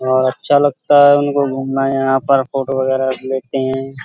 और अच्छा लगता है। उनको घूमना यहाँ पर फोटो वगेरा लेते हैं।